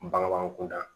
Bangebaa kunda